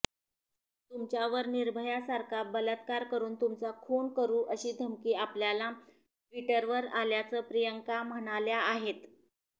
तुमच्यावर निर्भयासारखा बलात्कार करुन तुमचा खून करु अशी धमकी आपल्याला ट्विटरवर आल्याचं प्रियांका म्हणाल्या आहेत